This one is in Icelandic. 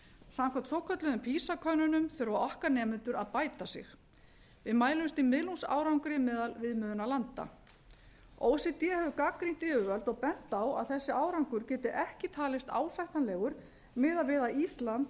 samkvæmt svokölluðum fýsakönnunum þurfa okkar nemendur að bæta sig við mælumst í miðlungsárangri meðal viðmiðunarlanda o e c d hefur gagnrýnt yfirvöld og bent á að þessi árangur geti ekki talist ásættanlegur miðað við að ísland